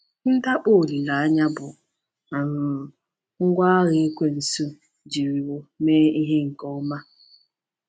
Ndakpọ olileanya bụ um ngwá agha Ekwensu jiriwo mee ihe nke ọma.